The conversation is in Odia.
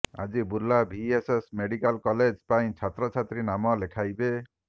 ଆଜି ବୁର୍ଲା ଭିଏସ୍ଏସ୍ ମେଡିକାଲ କଲେଜ ପାଇଁ ଛାତ୍ରଛାତ୍ରୀ ନାମ ଲେଖାଇବେ